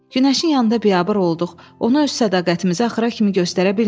Günəşin yanında biabır olduq, onu öz sədaqətimizi axıra kimi göstərə bilmədik.